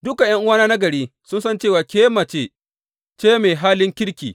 Dukan ’yan’uwana na gari sun san cewa ke mace ce mai halin kirki.